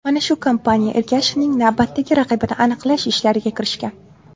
Mana shu kompaniya Ergashevning navbatdagi raqibini aniqlash ishlariga kirishgan.